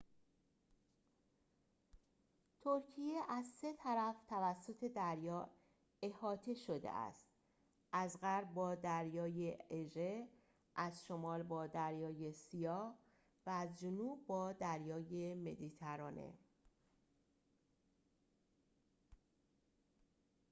ترکیه از سه طرف توسط دریا احاطه شده است از غرب با دریای اژه از شمال با دریای سیاه و از جنوب با دریای مدیترانه